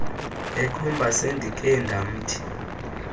ekhomba sendikhe ndamthi